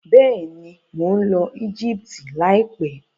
Bẹ́ẹ̀ni, mo ń lọ Egypt láìpẹ́.